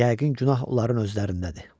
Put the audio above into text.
Yəqin günah onların özlərindədir.